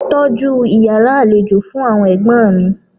Tọ́jú Ìyàrá àlejò fún àwọn ẹ̀gbọ́n mi.